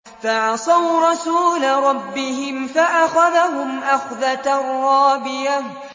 فَعَصَوْا رَسُولَ رَبِّهِمْ فَأَخَذَهُمْ أَخْذَةً رَّابِيَةً